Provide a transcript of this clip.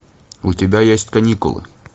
у тебя есть каникулы